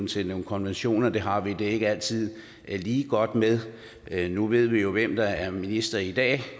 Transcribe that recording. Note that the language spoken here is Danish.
til nogle konventioner det har vi det ikke altid lige godt med nu ved vi jo hvem der er minister i dag